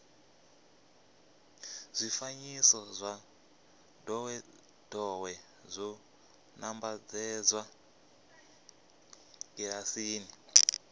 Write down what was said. zwifanyiso zwa ndowendowe zwo nambatsedzwa kilasini